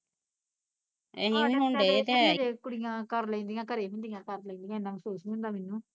ਕੁੜੀਆ ਕਰ ਲੈਂਦੀਆ ਕੁੜੀਆ ਘਰੇ ਹੁੰਦੀਆਂ ਕਰ ਲੈਂਦੀਆ ਏਨਾਂ ਮਹਿਸੂਸ ਨੀ ਹੁੰਦਾ ਮੈਨੂੰ